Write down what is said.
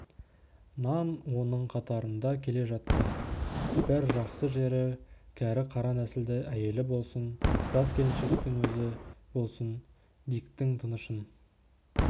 нан оның қатарында келе жатты бір жақсы жері кәрі қара нәсілді әйелі болсын жас келіншектің өзі болсын диктің тынышын